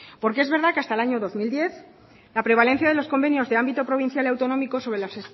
porque es verdad que hasta el año dos mil diez la prevalencia de los convenios de ámbito provincial y autonómico sobre las